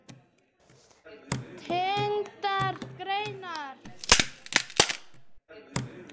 Tengdar greinar